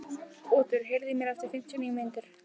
Otur, heyrðu í mér eftir fimmtíu og níu mínútur.